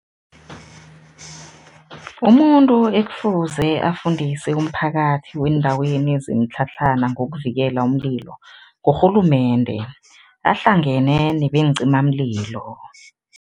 Umuntu ekufuze afundise umphakathi weendaweni zemitlhatlhana ngokuvikela umlilo, ngurhulumende ahlangene nebeencimamlilo.